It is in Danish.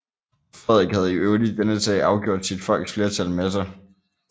Frederik havde i øvrigt i denne sag afgjort sit folks flertal med sig